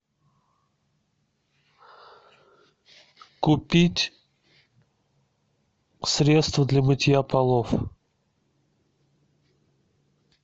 купить средство для мытья полов